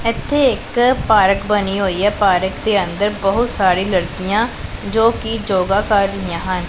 ਇੱਥੇ ਇੱਕ ਪਾਰਕ ਬਣੀ ਹੋਈ ਐ ਪਾਰਕ ਦੇ ਅੰਦਰ ਬਹੁਤ ਸਾਰੀ ਲੜਕੀਆਂ ਜੋ ਕਿ ਜੋਗਾ ਕਰ ਰਹੀਆਂ ਹਨ।